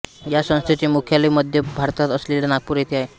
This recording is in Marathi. या संस्थेचे मुख्यालय मध्य भारतात असलेल्या नागपूर येथे आहे